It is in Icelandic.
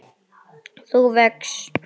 þú vex.